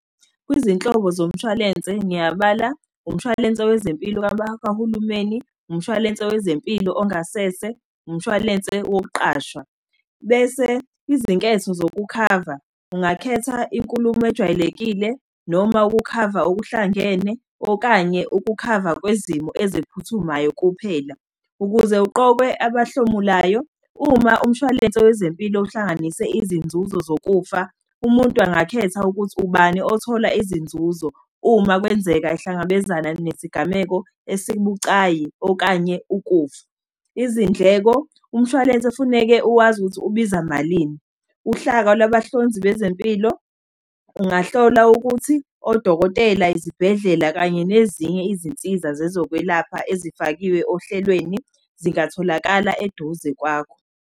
Kwezinhlobo zomshwalense ngiyabala, umshwalense wezempilo kabakahulumeni, umshwalense wezempilo ongasese, umshwalense wokuqashwa. Bese izinketho zokukhava, ungakhetha inkulumo ejwayelekile, noma ukukhava okuhlangene, okanye ukukhava kwezimo eziphuthumayo kuphela. Ukuze uqokwe abahlomulayo, uma umshwalense wezempilo uhlanganise izinzuzo zokufa, umuntu angakhetha ukuthi ubani othola izinzuzo, uma kwenzeka ahlangabezana nesigameko esibucayi, okanye ukufa. Izindleko, umshwalense ufuneke uwazi ukuthi ubiza malini. Uhlaka lwabahlonzi bezempilo ungahlola ukuthi odokotela, izibhedlela kanye nezinye izinsiza zezokwelapha ezifakiwe ohlelweni zingatholakala eduze kwakho.